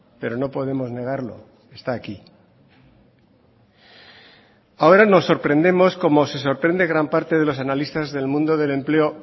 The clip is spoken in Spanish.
pero no podemos negarlo está aquí ahora nos sorprendemos como se sorprende gran parte de los analistas del mundo del empleo